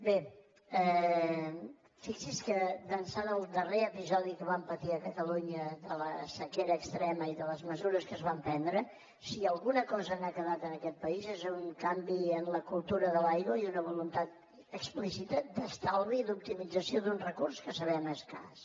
bé fixi’s que d’ençà del darrer episodi que vam patir a catalunya de la sequera extrema i de les mesures que es van prendre si alguna cosa n’ha quedat en aquest país és un canvi en la cultura de l’aigua i una voluntat explícita d’estalvi i d’optimització d’un recurs que sabem escàs